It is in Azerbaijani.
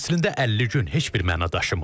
Əslində 50 gün heç bir məna daşımır.